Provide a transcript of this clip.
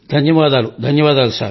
ధన్యవాదాలు ధన్యవాదాలు